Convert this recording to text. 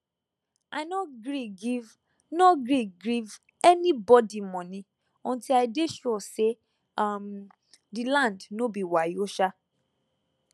i no gree give no gree give any bodi moni unti i dey sure say um the land no be wayo [sha]